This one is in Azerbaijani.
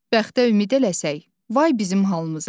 Bəxtə ümid eləsək, vay bizim halımıza.